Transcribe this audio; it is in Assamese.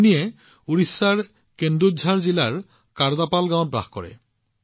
কুন্নী উৰিষ্যাৰ কেন্দুঝাৰ জিলাৰ কাৰ্দাপাল গাঁৱত বাস কৰে